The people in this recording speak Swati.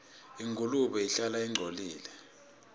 ingulube ihlala ingcolile